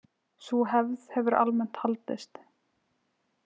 Sú hefð hefur almennt haldist.